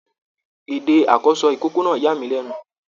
Èdè àkọsọ ikòkò náà yàmílẹnu.